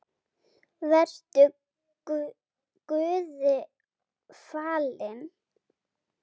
Vertu Guði falin.